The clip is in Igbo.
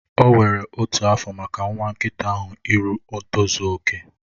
O were otu afọ maka nwa nkịta ahụ iru ntozu okè.